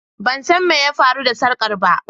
Ban san me ya faru da sarkar ba.